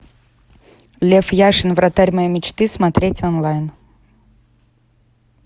лев яшин вратарь моей мечты смотреть онлайн